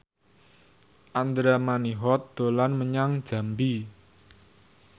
Andra Manihot dolan menyang Jambi